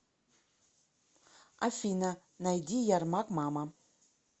афина найди ярмак мама